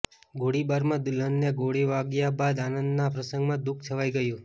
ગોળીબારમાં દુલ્હનને ગોળી વાગ્યા બાદ આનંદના પ્રસંગમાં દુઃખ છવાઈ ગયું